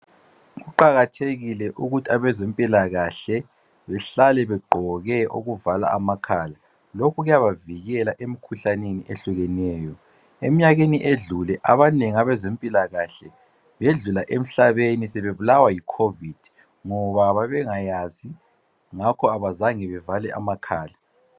Kuqakathekile ukuthi abezempilakahle behlale bevale amakhala. Lokhu kuyabavikela emikhuhlaneni ehlukeneyo. Eminyakeni edlule abanengi abezempilakahle belula emhlabeni bebulawa yiCOVID ngoba babengayazi ngakho abazange bevale amakhala.